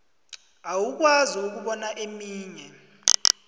awukwazi ukubona eminye